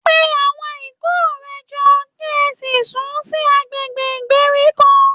Pe àwọn ikọ̀ rẹ jọ, kí ẹ sì sún sí agbègbè ìgbèríko